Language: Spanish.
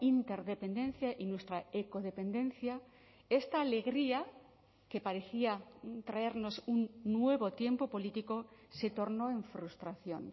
interdependencia y nuestra ecodependencia esta alegría que parecía traernos un nuevo tiempo político se tornó en frustración